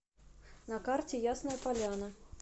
на карте ясная поляна